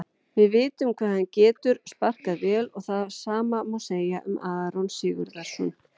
Við vitum hvað hann getur sparkað vel og það sama má segja um Aron Sigurðar.